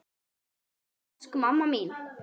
Mamma, elsku mamma mín.